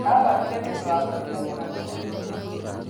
Athamire nĩndũ wa kũhĩtania na mwene nyũmba